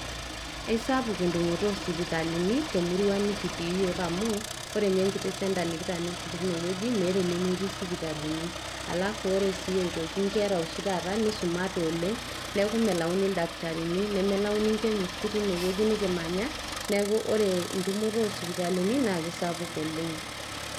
Eisapuk entumoto oo sipitalini te murua nikitii iyiok amu, ore ninye enkiti centre nikitaaniki teine wueji meeta enemetii sipitali. Alafu ore si aitoki ore nkera oshi taata nisumate oleng. Niaku melauni ildakitarini nemelauni chemist teine wueji nikimanya, niaku ore entumoto oo sipitalini naa kisapuk oleng.